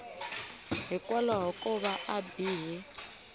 hikwalaho ko va a bihe